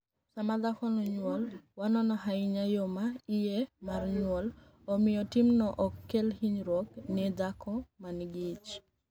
'Sama dhako niyuolo, wanono ahiniya yo ma iye mar niyuol, omiyo timno ok kel hiniyruok ni e dhako ma niigi ich' '.